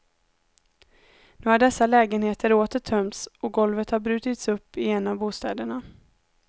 Nu har dessa lägenheter åter tömts, och golvet har brutits upp i en av bostäderna.